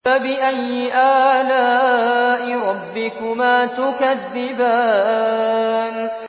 فَبِأَيِّ آلَاءِ رَبِّكُمَا تُكَذِّبَانِ